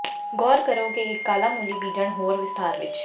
ਗੌਰ ਕਰੋ ਕਿ ਇੱਕ ਕਾਲਾ ਮੂਲੀ ਬੀਜਣ ਹੋਰ ਵਿਸਥਾਰ ਵਿੱਚ